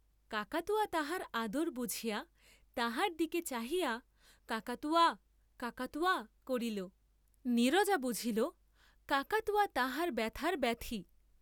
কাকাতুয়া তাহার আদর বুঝিয়া তাহার দিকে চাহিয়া, কাকাতুয়া কাকাতুয়া করিল, নীরজা বুঝিল কাকাতুয়া তাহার ব্যথার ব্যথী।